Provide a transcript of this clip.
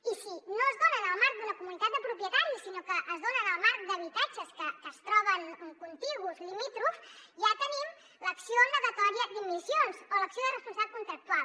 i si no es dona en el marc d’una comunitat de propietaris sinó que es dona en el marc d’habitatges que es troben contigus limítrofs ja tenim l’acció negatòria d’immissions o l’acció de responsabilitat contractual